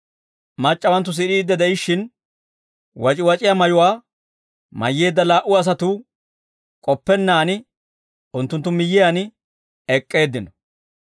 Mac'c'awanttu sid'iidde de'ishshin, wac'iwac'iyaa mayuwaa mayyeedda laa"u asatuu, k'oppennaan unttunttu miyyiyaan ek'k'eeddino.